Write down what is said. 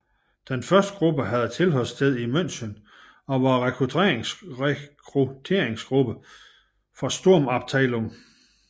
Den første gruppe havde tilholdssted i München og var rekrutteringsgruppe for Sturmabteilung